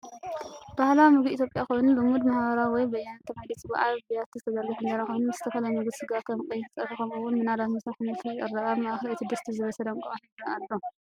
ባህላዊ ምግቢ ኢትዮጵያ ኮይኑ፡ ልሙድ "ማሃባራዊ" ወይ "በያነቱ" ተባሂሉ ይጽዋዕ። ኣብ ብያቲ ዝተዘርግሐ እንጀራ ኮይኑ፡ ምስ ዝተፈላለየ ምግቢ ስጋ (ከም ቀይሕ ፀብሒ ) ከምኡ’ውን ምናልባት ምስ ኣሕምልቲ ይቐርብ። ኣብ ማእከል እቲ ድስቲ ዝበሰለ እንቋቑሖ ይርአ ኣሎ።